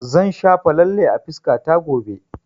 Zan shafa lalle a fuskata gobe